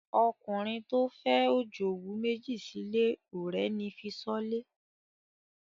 Ọkùnrin tó fẹ́ òjòwú méjì sílé ò rẹ́ni fi ṣọ́lé.